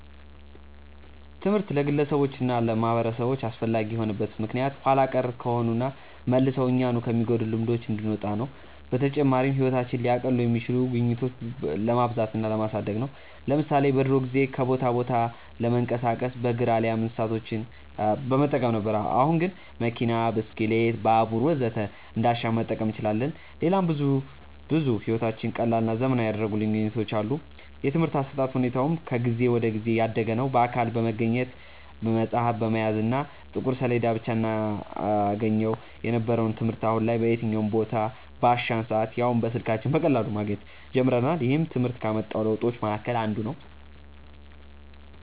ትምህርት ለግለሰቦች እና ለማህበረሰቦች አስፈላጊ የሆነበት ምክንያት ኋላ ቀር ከሆኑና መልሰው እኛኑ ከሚጎዱን ልማዶች እንድንወጣ ነው። በተጨማሪም ህይወታችንን ሊያቀሉ የሚችሉ ግኝቶችን ለማብዛት እና ለማሳደግ ነው። ለምሳሌ በድሮ ጊዜ ከቦታ ቦታ ለመንቀሳቀስ በእግር አሊያም እንስሳቶችን በመጠቀም ነበር። አሁን ግን መኪና፣ ብስክሌት፣ ባቡር ወዘተ እንዳሻን መጠቀም እንችላለን። ሌላም ብዙ ብዙ ህይወታችንን ቀላልና ዘመናዊ ያደረጉልን ግኝቶች አሉ። የትምርህት አሰጣጥ ሁኔታውም ከጊዜ ወደ ጊዜ እያደገ ነዉ። በአካል በመገኘት፣ መፅሀፍ በመያዝ እና በጥቁር ሰሌዳ ብቻ እናገኘው የነበረውን ትምህርት አሁን ላይ በየትኛውም ቦታ፣ ባሻን ሰአት ያውም በስልካችን በቀላሉ ማግኘት ጀምረናል። ይህም ትምህርት ካመጣው ለውጦች መሀከል አንዱ ነው።